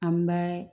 An bɛ